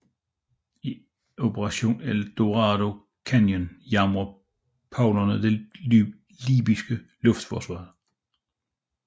I Operation El Dorado Canyon jammede Prowlere det libyske luftforsvar